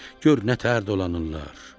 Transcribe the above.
Gör nə tər dolanırlar.